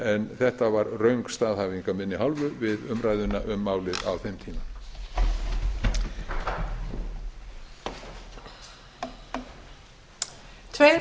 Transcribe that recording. en þetta var röng staðhæfing af minni hálfu við umræðuna um málið á þeim tíma